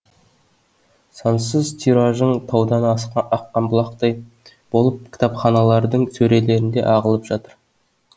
сансыз тиражың таудан аққан бұлақтай болып кітапханалардың сөрелеріне ағылып жатыр